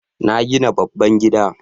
Na gina babban gida